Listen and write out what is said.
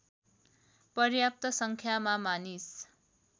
पर्याप्त सङ्ख्यामा मानिस